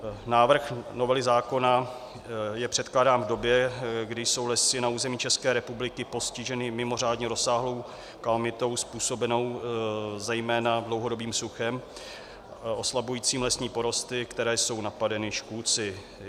Návrh novely zákona je předkládán v době, kdy jsou lesy na území České republiky postiženy mimořádně rozsáhlou kalamitou způsobenou zejména dlouhodobým suchem oslabujícím lesní porosty, které jsou napadeny škůdci.